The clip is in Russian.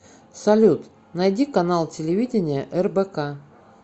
салют найди канал телевидения рбк